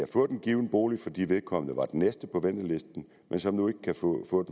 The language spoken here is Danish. fået en given bolig fordi vedkommende var den næste på ventelisten men som nu ikke kan få